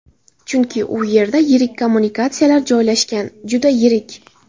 Chunki u yerda yirik kommunikatsiyalar joylashgan, juda yirik.